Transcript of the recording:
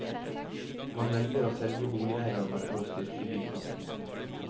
Man velger å selge boligeiendommer for å styrke bykassen.